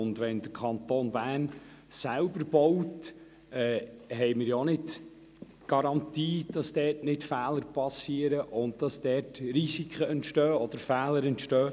Wenn der Kanton Bern selber baut, haben wir auch keine Garantie dafür, dass keine Fehler bestehen.